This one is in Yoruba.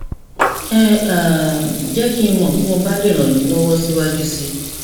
ẹ um jẹ kí n mọ bí mo bá lè ràn yín lọwọ síwájú sí i